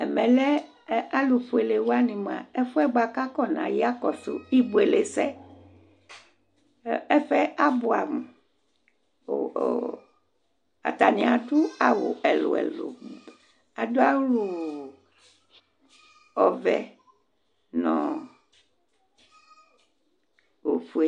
Ɛmɛlɛ alʋfʋele waŋi ɛfuɛ kakɔsu ibʋelesɛ Ɛfuɛ abʋɛ amu Ataŋi aɖu awu ɛlu ɛlu Aɖu awu ɔvɛ ŋu ɔfʋe